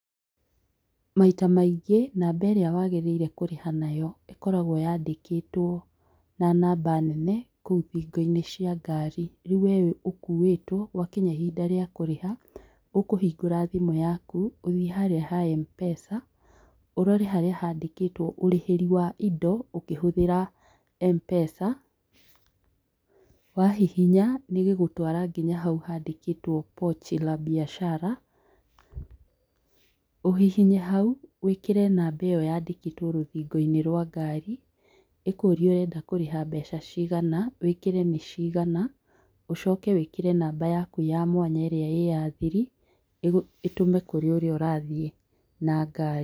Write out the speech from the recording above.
Maita maingĩ namba ĩrĩa waagĩrĩire kũrĩha nayo ikoragwo yandĩkĩtwo, na namba nene kũu thingo-inĩ cia ngari. Rĩu we ũkuĩtwo gwa kinya ihinda rĩa kũrĩha, ũkũhingũra thimũ yaku, ũthiĩ harĩa ha M-Pesa, urore harĩa haandĩkĩtwo, ũrĩhĩri wa indo ũkĩhũthĩra M-Pesa. Wahihinya nĩ ĩgũgũtwara nginya hau handĩkĩtwo Pochi La Biachara, ũhihinye hau, wĩkĩre namba ĩyo rũthingo-inĩ rwa ngari, ĩkũrie ũrenda kũrĩha mbeca cigana, wĩkĩre nĩ cigana. Ũcoke wĩkĩre namba yaku ya mwanya ĩrĩa ĩ ya thiri, ĩtũme kũrĩ ũrĩa ũrathiĩ na ngari.